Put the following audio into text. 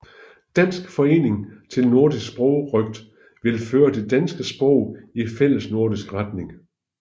Dansk Forening til Nordisk Sprogrøgt ville føre det danske sprog i fællesnordisk retning